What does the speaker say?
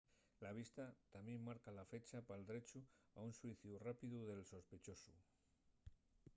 la vista tamién marca la fecha pal drechu a un xuiciu rápidu del sospechosu